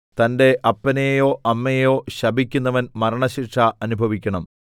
തന്റെ അപ്പനെയോ അമ്മയെയോ ശപിക്കുന്നവൻ മരണശിക്ഷ അനുഭവിക്കണം